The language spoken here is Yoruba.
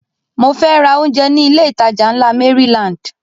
Mo fẹ́ ra oúnjẹ ní ilé ìtajà ńlá Maryland